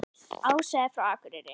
Ása er frá Akureyri.